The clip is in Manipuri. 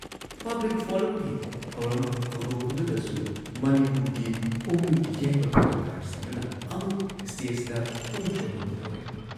ꯄꯕ꯭ꯂꯤꯛ ꯐꯣꯔꯝꯒꯤ ꯊꯧꯔꯝ ꯍꯧꯗꯣꯛꯄꯗꯨꯗꯁꯨ ꯃꯅꯤꯄꯨꯔꯒꯤ ꯄꯨꯡ ꯌꯩꯕ ꯀꯂꯥꯀꯥꯔꯁꯤꯡꯗꯨꯅ ꯑꯃꯨꯛ ꯁ꯭ꯇꯦꯖꯗ ꯄꯨꯡ ꯆꯣꯂꯣꯝ ꯇꯧꯔꯦ ꯫